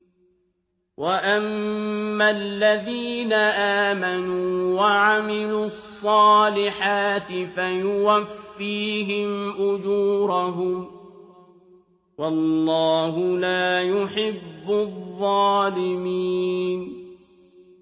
وَأَمَّا الَّذِينَ آمَنُوا وَعَمِلُوا الصَّالِحَاتِ فَيُوَفِّيهِمْ أُجُورَهُمْ ۗ وَاللَّهُ لَا يُحِبُّ الظَّالِمِينَ